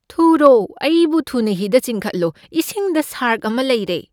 ꯊꯨꯔꯣ, ꯑꯩꯕꯨ ꯊꯨꯅ ꯍꯤꯗ ꯆꯤꯡꯈꯠꯂꯣ, ꯏꯁꯤꯡꯗ ꯁꯥꯔꯛ ꯑꯃ ꯂꯩꯔꯦ꯫